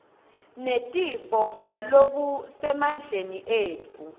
netifo ngalokusemandleni etfu